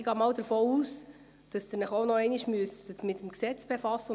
Ich muss mich zwar diesbezüglich noch mit dem Regierungsrat absprechen.